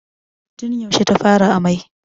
Tun yaushe ta fara amai?